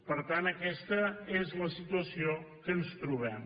per tant aquesta és la situació que ens trobem